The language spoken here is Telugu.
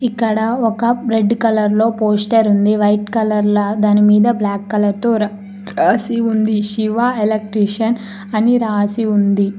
ఇక్కడ ఒక రెడ్ కలర్ లో పోస్టర్ ఉంది వైట్ కలర్లో దానిమీద బ్లాక్ కలర్తో రాసి ఉంది శివ ఎలక్ట్రికల్స్ అన్ని రాసి ఉంది.